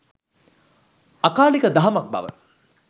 අකාලික දහමක් බව